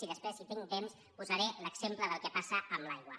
i després si tinc temps posaré l’exemple del que passa amb l’aigua